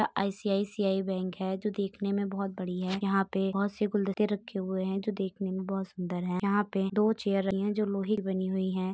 यहाँ ICICI bank है जो देखने में बहुत बड़ी है। यहाँँ पे बहुत से गुलदस्ते रखे हुए हैं जो देखेने में बहुत सुंदर है। यहाँँ पे दो चेयर रखी है जोकि लोहे की बनी हुई है।